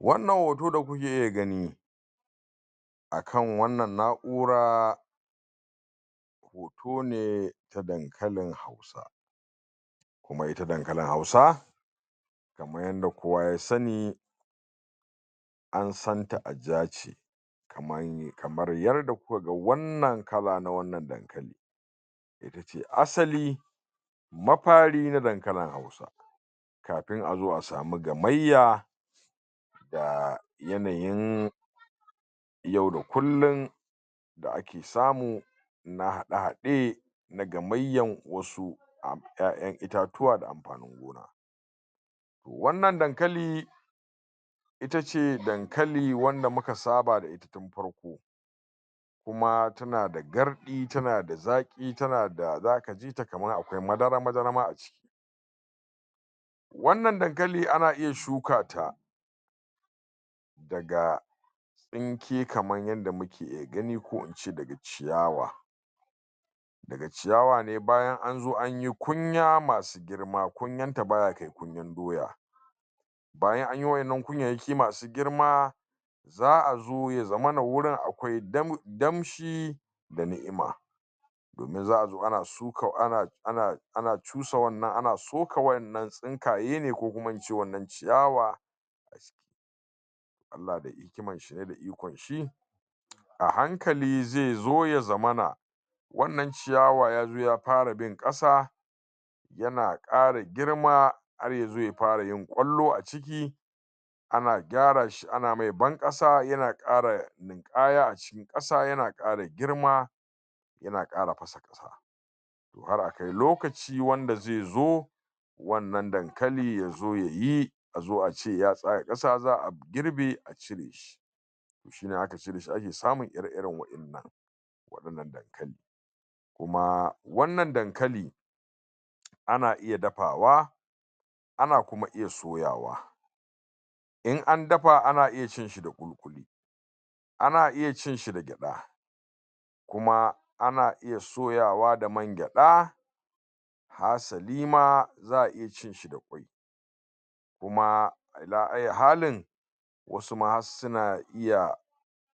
wannan hoto da kuke iya gani akan wannan na'ura hotone na dankalin hausa kuma ita dankalin hausa kamar yadda kowa ya sani an santa a jace kamar yadda kuka ga wannan kala na wannan dankali itace asali mafari na dankalin hausa kafun a zo a sami gamayya da yanayin yau da kullum da ake samu na hade hade na gamayyan wasu yayan itatuwa da amfanin gona wannan dankali itace dankalin wanda muka saba da ita tun farko kuma tana gardi tana zaki tana da zaka jita kamar akwai madara madara aciki wannan dankali ana iya shukata daga daga tsinke kaman yadda muke iya gani ko ince daga ciyawa daga ciyawa ne bayan anzo anyi kunya masu girma kunyanta baya kai kunyan doya bayan anyi wannan kunya masu girma za'azo yazamana akwai damshi da ni'ima domin za'a zo ana suka ana cusa ana soka wannan tsinkaye ko kuma wannan ciyawa allah da hikiman shi ne da ikon shi a hankali zai zo ya zamana wannan ciyawa ya fara bin kasa yana kara girma har yazo ya fara yin kallo ana gyara shi ana mai ban kasa yana kara linkaya a cikin kasa yana kara girma yana kara fasa kasa to har a kai lokaci wanda zai zo wannan dakali yazo yayi azo ace ya tsaya kasa za'a girbe a cire shi shine in aka cire ake samu ire iren wadannan wadananan dankali kuma wannan dankali ana iya dafawa ana kuma iya soyawa in an dafa ana iya ci da kuli kuli ana iya cinshi da gyada kuma ana iya soyawa da man gyada hasalima za'a iya cin shi da kuma ala hayya halin wasu ma har suna iya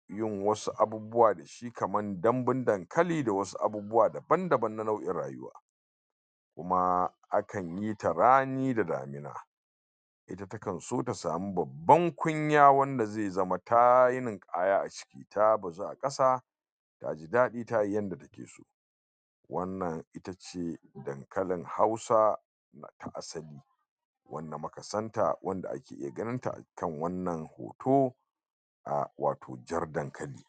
yin wasu abubuwa da shi kamar dambun dankali da wasu abubuwa daban daban na nau'in rayuwa kuma akan yita rani da damuna ita takan so ta sami babban kunya wanda zai zama tayi ninkaya aciki ta bazu a kasa taji dadi tayi yadda ta ke so wannan itace dankalin hausa tun asali wanda muka santa muke ganin ta a wannan hoto wato jar dankali